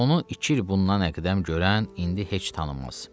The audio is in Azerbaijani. Onu iki il bundan əqdəm görən, indi heç tanımaz.